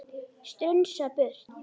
Strunsa burtu.